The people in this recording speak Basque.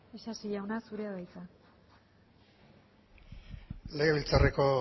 isasi jauna zurea da hitza legebiltzarreko